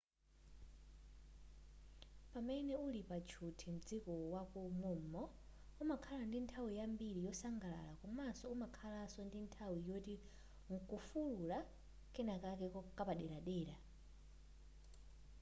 pamene uli pa tchuthi mdziko mwako mom'mo umakhala ndi nthawi yambiri yosangalala komaso umakhalaso ndi nthawi yoti nkufulula kenakake kapaderadera